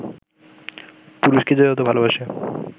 পুরুষকে যে যত ভালোবাসে